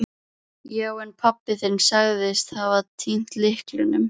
Já, en pabbi þinn sagðist hafa týnt lyklinum.